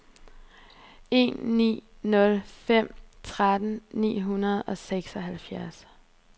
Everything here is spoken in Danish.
en ni nul fem tretten ni hundrede og seksoghalvtreds